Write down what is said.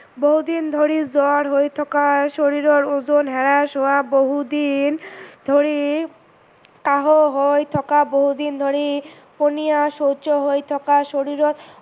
বহু দিন ধৰি জ্বৰ হৈ থকা, শৰীৰৰ ওজন হ্ৰাস হোৱা, বহু দিন ধৰি কাহ হৈ থকা, বহু দিন ধৰি পনীয়া শৌচ হৈ থকা, শৰীৰত